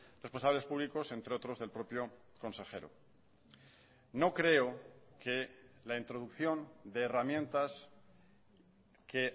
responsables públicos entre otros del propio consejero no creo que la introducción de herramientas que